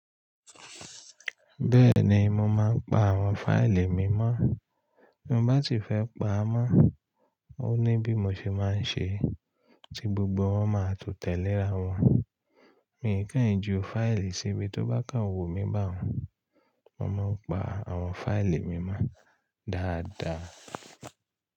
Bẹ́ẹ̀ni, mo máa ń pa àwọn fáìlì mi mọ́. Bí mo bá sì fẹ́ pa á mọ́, ó ní bí mo ṣe máa ń ṣe, tí gbogbo wọn máa tó tẹ̀léra wọn. Mi n kàn n jú fáìlì sibí tó bá kàn wù mí bá un. Mo máa ń pa àwọn fáìlì mi mọ́ dáadáa.